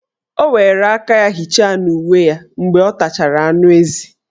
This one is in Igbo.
O were aka ya hicha n' uwe ya mgbe ọ tachara anụezi.